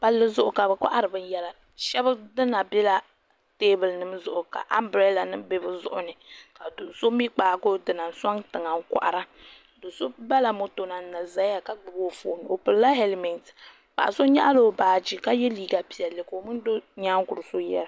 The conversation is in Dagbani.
Palli zuɣu ka bɛ kohari binyɛra sheba dina bela teebuli nima zuɣu ka ambrada nima be bɛ zuɣuni ka do'so mee kpaagi o dina n soŋ tiŋa n kohara bala moto na n na zaya ka gbibi o fooni o pilila helimenti paɣa so nyaɣala o baaji ka ye liiga piɛlli ka o mini do nyaankuru so yera.